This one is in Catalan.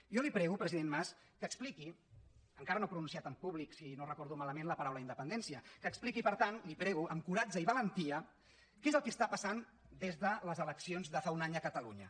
jo li prego president mas que expliqui encara no ha pronunciat en públic si no ho recordo malament la paraula independència amb coratge i valentia què és el que passa des de les eleccions de fa un any a catalunya